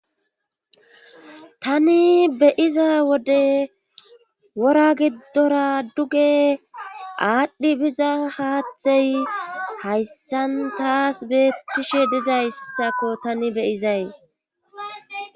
tani beyiza wode wora giddora duge aadhdhi biza haathey hayssan taas beettishe dizayssako tani beyizay